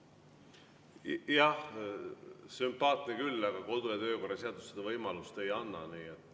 Jah, sümpaatne küll, aga kodu- ja töökorra seadus seda võimalust ei anna.